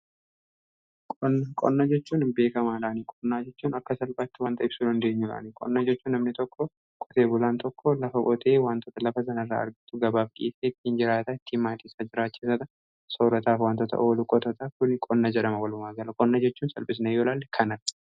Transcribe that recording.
Qonna jechuun namni tokko qotee bulaan tokko lafa qotee wantoota lafa sanarraa argatu gabaaf dhiyeessee ittiin maatiisaa jiraachifataa